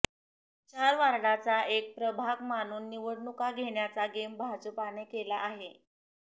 चार वॉर्डाचा एक प्रभाग मानून निवडणुका घेण्याचा गेम भाजपाने केला आहे